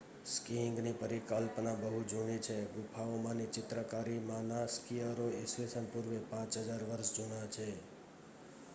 સ્કીઇંગની પરિકલ્પના બહુ જૂની છે ગુફાઓમાંની ચિત્રકારીમાંના સ્કીઅરો ઈસ્વી પૂર્વે 5000 વર્ષ જૂના છે